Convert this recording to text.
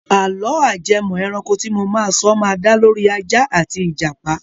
Àlọ́ ajẹmọ́-ẹranko tí mo máa sọ ma da lórí Ajá àti Ìjàpà.